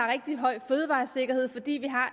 rigtig høj fødevaresikkerhed fordi vi har